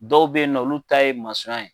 Dɔw be yen nɔ olu ta ye masɔn ya ye